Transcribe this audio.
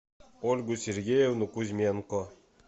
ольгу сергеевну кузьменко